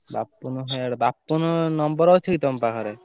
Bapunu Bapun number ଅଛି କି ତମ ପାଖରେ?